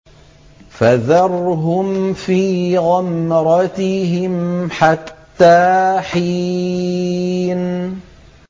فَذَرْهُمْ فِي غَمْرَتِهِمْ حَتَّىٰ حِينٍ